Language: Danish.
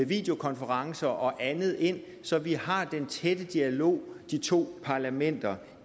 videokonferencer og andet ind så vi har den tætte dialog de to parlamenter